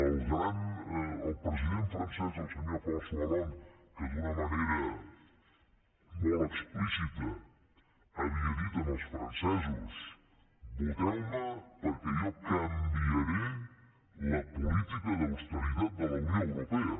el president francès el senyor françois hollande que d’una manera molt explícita havia dit als francesos voteu me perquè jo canviaré la política d’austeritat de la unió europea